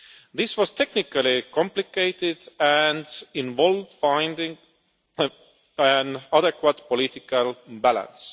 This was technically complicated and involved finding an adequate political balance.